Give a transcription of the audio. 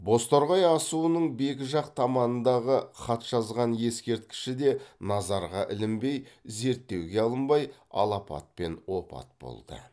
бозторғай асуының бекі жақ таманындағы хатжазған ескерткіші де назарға ілінбей зерттеуге алынбай алапатпен опат болды